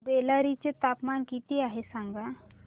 बेल्लारी चे तापमान किती आहे सांगा